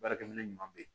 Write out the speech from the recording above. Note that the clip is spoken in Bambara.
Baarakɛ minɛ ɲuman bɛ ye